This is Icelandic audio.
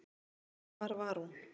Hvar var hún?